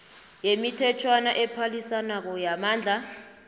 yemithetjhwana ephalisanako yamandla